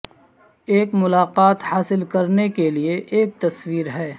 ایک ملاقات حاصل کرنے کے لئے ایک تصویر ہے